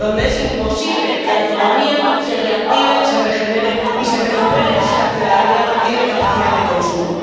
donde es imposible que la economía se reactive, se regenere y se recupere si la ciudadanía no tiene capacidad de consumo.